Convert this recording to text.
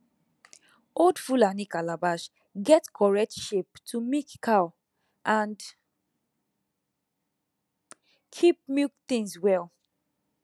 old fulani calabash get correct shape to milk cow and keep milk things well